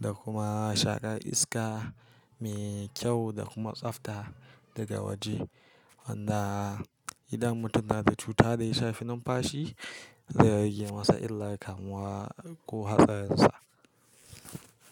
da kuma shaƙar iska mai kyau da kuma tsabta daga waje. Wanda idan mutum yana da cuta da ya shafi numfashi zai rage masa illar kamuwa ko hatsarin sa.